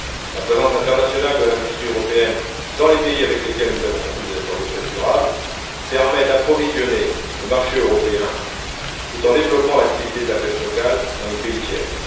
La présence internationale de l'industrie européenne dans les pays avec lesquels nous avons conclu des accords de pêche durable, permet d'approvisionner le marché européen tout en développant l'activité de la pêche locale dans les pays tiers.